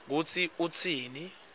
kutsi utsini